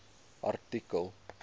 artikel